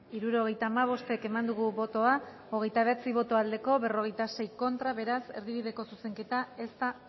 hirurogeita hamabost eman dugu bozka hogeita bederatzi boto aldekoa cuarenta y seis contra beraz erdibideko zuzenketa ez da